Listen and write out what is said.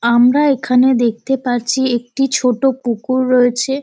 আমরা এখানে দেখতে পারছি একটি ছোট পুকুর রয়েছে।